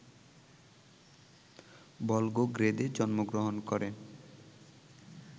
ভলগোগ্রেদে জন্মগ্রহণ করেন